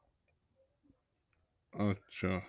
আচ্ছা